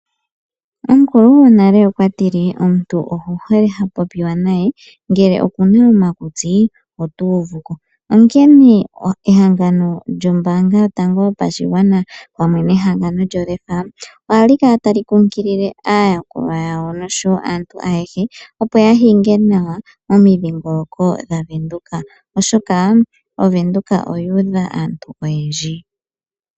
Omukulu gwonale okwatile omuntu oku hole okupopiwa naye ngele okuna omakutsi ota uvuko. Onkene ehangano lyombaanga yotango yopashigwana pamwe nehangano lyo LEFA ohali kala tali kunkilile aayakulwa yawo oshowo aantu ayehe opo ya hinge nawa momidhingoloko dha Venduka, oshoka ovenduka oyu udha aantu oyendji.